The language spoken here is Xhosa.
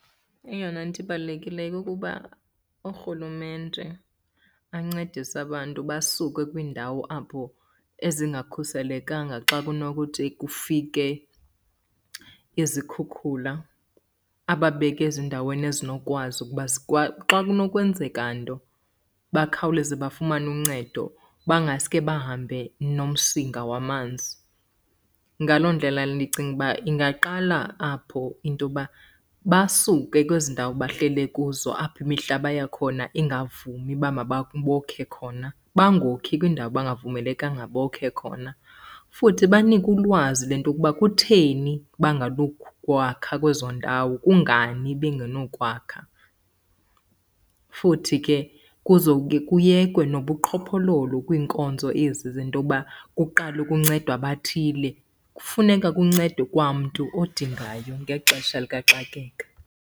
Eyona nto ibalulekileyo kukuba uRhulumente ancedise abantu basuke kwiindawo apho ezingakhuselekanga xa kunokuthi kufike izikhukhula. Ababeke ezindaweni ezinokwazi ukuba xa kunokwenzeka nto bakhawuleze bafumane uncedo bangaske bahambe nomsinga wamanzi. Ngaloo ndlela ndicinga uba ingaqala apho into yokuba basuke kwezi ndawo bahlele kuzo, apho imihlaba yakhona ingavumi uba bokhe khona, bangokhi kwindawo abangavumelekanga bokhe khona. Futhi banikwe ulwazi lento yokuba kutheni banganokwakha kwezo ndawo, kungani bengenokwakha. Futhi ke kuzoke kuyekwe nobuqhophololo kwiinkonzo ezi zento yoba kuqalwe kuncedwe abathile. Kufuneka kuncedwe kwa mntu odingayo ngexesha likaxakeka.